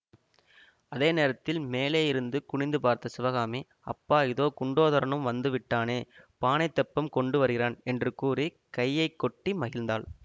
அதே நேரத்தில் மேலேயிருந்து குனிந்து பார்த்த சிவகாமி அப்பா இதோ குண்டோதரனும் வந்து விட்டானே பானைத் தெப்பம் கொண்டு வருகிறான் என்று கூறி கையை கொட்டி மகிழ்ந்தாள்